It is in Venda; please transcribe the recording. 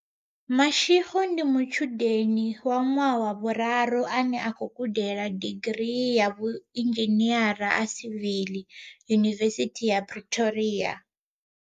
Mashego ndi mutshudeni wa ṅwaha wa vhularu ane a khou gudela digirii ya vhui nzhiniara ha sivili Yunivesithi ya Pretoria.